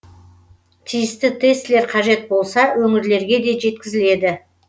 тиісті тестілер қажет болса өңірлерге де жеткізіледі